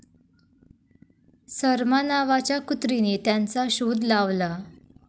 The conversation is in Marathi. सरमा नावाच्या कुत्रीने त्यांचा शोध लावला.